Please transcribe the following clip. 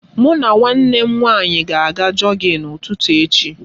Mụ na nwanne m nwaanyị ga aga jọgịn ụtụtụ echi.